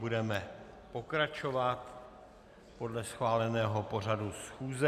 Budeme pokračovat podle schváleného pořadu schůze.